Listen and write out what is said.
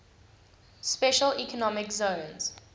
special economic zones